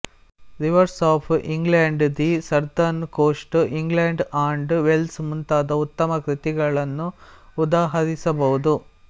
reverse of England the southern coast England and Wales ಮುಂತಾದ ಉತ್ತಮ ಕೃತಿಗಳನ್ನು ಉದಹರಿಸಬಹುದು